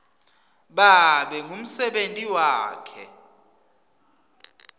babe ngumsebenti wakhe